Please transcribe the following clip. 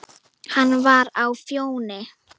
Hann var á Fjóni.